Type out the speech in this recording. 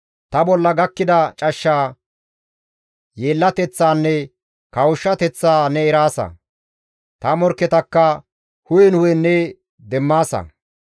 Ta bolla gakkida cashsha, yeellateththaanne kawushshateththaa ne eraasa; ta morkketakka hu7en hu7en ne demmaasa.